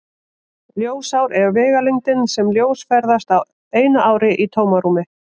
Ljósár er vegalengdin sem ljós ferðast á einu ári í tómarúmi.